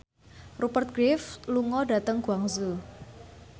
Rupert Graves lunga dhateng Guangzhou